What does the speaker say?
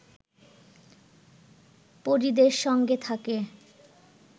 পরিদের সঙ্গে থাকে